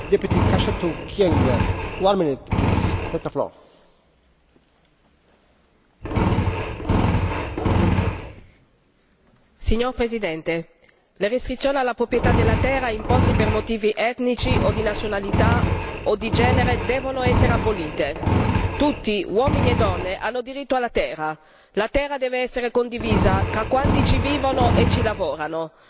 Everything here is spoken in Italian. Signor Presidente, onorevoli colleghi, le restrizioni alla proprietà della terra imposte per motivi etnici o di nazionalità o di genere devono essere abolite. Tutti, uomini e donne, hanno diritto alla terra. La terra deve essere condivisa tra quanti ci vivono e ci lavorano. Migliaia di masai sono stati cacciati violentemente dalle proprie case e dalle loro terre ancestrali in Tanzania, senza che avessero un giusto risarcimento.